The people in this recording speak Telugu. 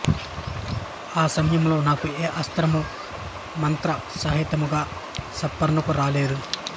ఆ సమయములో నాకు ఏ అస్త్రము మంత్రసహితముగా స్ఫురణకు రాలేదు